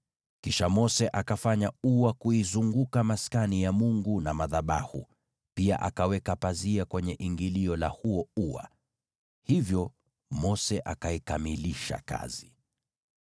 Kisha Mose akafanya ua kuizunguka Maskani ya Mungu na madhabahu, pia akaweka pazia kwenye ingilio la huo ua. Hivyo Mose akaikamilisha kazi.